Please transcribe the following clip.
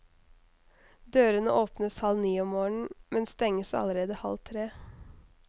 Dørene åpnes halv ni om morgenen, men stenges allerede halv tre.